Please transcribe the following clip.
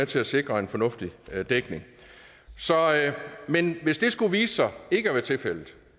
til at sikre en fornuftig dækning men hvis det skulle vise sig ikke at være tilfældet